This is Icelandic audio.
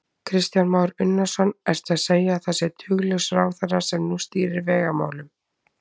Kristján Már Unnarsson: Ertu að segja að það sé duglaus ráðherra sem nú stýrir vegamálunum?